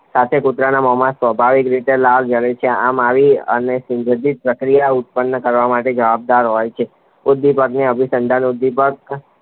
સાથે કુતરાના મોમાં સ્વભાવિક રીતે લાળ જળે છે આમ આવી અને પ્રક્રિયા ઉત્પ્ન્ન કરવા માટે જવાબ દર હોય છે ઉદીપકની અભિસનદાન ઉદીપક